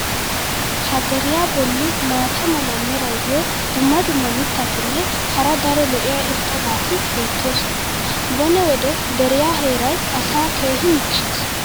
Ha deriya boli maata mala meray diyo dumma dumma mitatinne hara daro lo'iya irxxabati beetoosona. bone wode deriyaa heeray asaa keehi michchees.